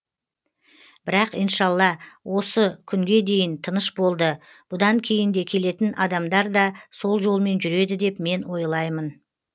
бірақ иншалла ос күнге дейін тыныш болды бұдан кейін де келетін адамдар да сол жолмен жүреді деп мен ойлаймын